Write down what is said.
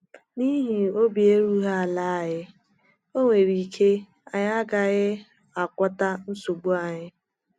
N’ihi obi erughị ala anyị, o nwere ike anyị agaghị agwọta nsogbu anyị.